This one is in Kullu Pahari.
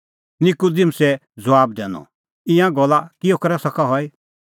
निकूदिमुसै ज़बाब दैनअ ईंयां गल्ला किहअ करै सका हई